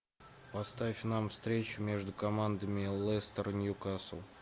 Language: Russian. поставь нам встречу между командами лестер ньюкасл